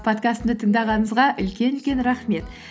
подкастымды тыңдағаныңызға үлкен үлкен рахмет